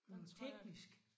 Noget teknisk